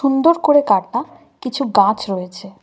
সুন্দর করে কাটা কিছু গাছ রয়েছে।